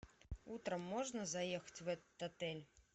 утром можно заехать в этот отель